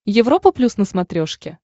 европа плюс на смотрешке